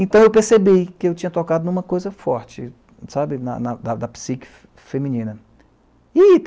Então eu percebi que eu tinha tocado em uma coisa forte, sabe, na na na da psique feminina. E